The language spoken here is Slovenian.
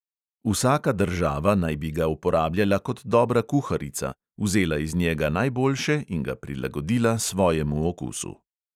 Vsaka država naj bi ga uporabljala kot dobra kuharica, vzela iz njega najboljše in ga prilagodila svojemu okusu.